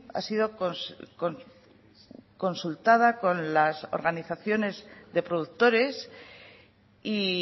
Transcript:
ha sido consultada con las organizaciones de productores y